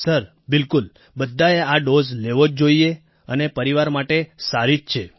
sir બિલકુલ બધાએ આ ડોઝ લેવો જ જોઈએ અને પરિવાર માટે સારી જ છે